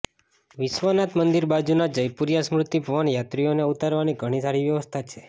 વિશ્વનાથ મંદિરની બાજુના જયપુરિયા સ્મૃતિભવનમાં યાત્રીઓને ઊતરવાની ઘણી સારી વ્યવસ્થા છે